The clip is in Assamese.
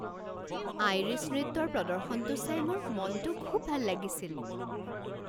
আইৰিছ নৃত্যৰ প্ৰদৰ্শনটো চাই মোৰ মনটো খুব ভাল লাগিছিল।